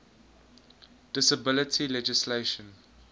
disability legislation